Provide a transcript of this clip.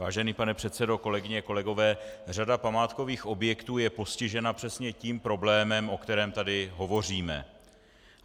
Vážený pane předsedo, kolegyně, kolegové, řada památkových objektů je postižena přesně tím problémem, o kterém tady hovoříme.